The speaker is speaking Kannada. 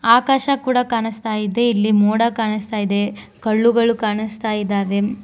ಆಕಾಶ ಕೂಡ ಕಾಣಿಸ್ತಾ ಇದೆ ಇಲ್ಲಿ ಮೋಡ ಕಾಣಿಸ್ತಾ ಇದೆ ಕಲ್ಲುಗಳು ಕಾಣಿಸ್ತಾ ಇದಾವೆ.